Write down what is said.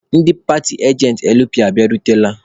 Ndị paatị ajentị LP abịarutela?